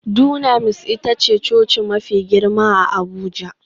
Dunamis ita ce coci mafi girma a Abuja